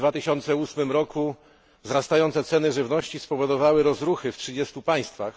W 2008 roku wzrastające ceny żywności spowodowały rozruchy w trzydziestu państwach.